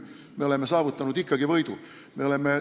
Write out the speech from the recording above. Me oleme ikkagi võidu saavutanud.